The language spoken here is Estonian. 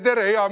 Tere-tere!